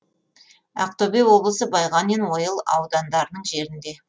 ақтөбе облысы байғанин ойыл аудандарының жерінде